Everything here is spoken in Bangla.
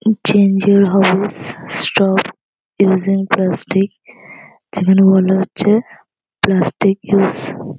Two change your house stop using plastic এখানে বলা হচ্ছে প্লাস্টিক ইউজ ।